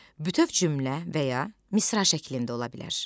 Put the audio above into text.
Bütöv cümlə və ya misra şəklində ola bilər.